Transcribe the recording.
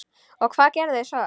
Og hvað gerðuð þér svo?